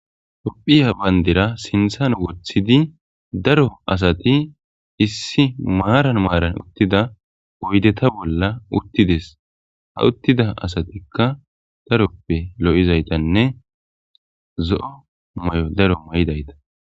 Hophiya bayndera sinthan woththidi daro asati issi maaran maaran uttida oydeta bolla uttides ha uttida asatikka daroppe lo7izaytanne zo7o may7o daro ma7idayta.